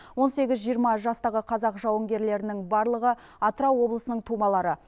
он сегіз жиырма жастағы қазақ жауынгерлерінің барлығы атырау облысының тумалары